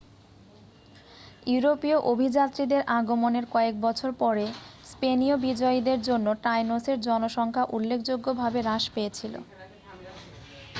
ইউরোপীয় অভিযাত্রীদের আগমনের কয়েক বছর পরে স্পেনীয় বিজয়ীদের জন্য টাইনোসের জনসংখ্যা উল্লেখযোগ্যভাবে হ্রাস পেয়েছিল